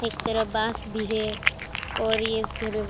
एक तरफ बांस भी है और ये इस घर में --